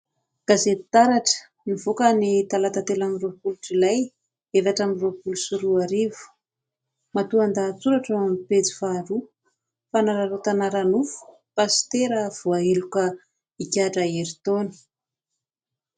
Gazety Taratra nivoaka ny talata telo amby roapolo jolay efatra amby roapolo sy roa arivo. Matoan-dahatsoratra ao amin'ny pejy faharoa : "Fanararotana ara-nofo "pasitera" voaheloka igadra herintaona".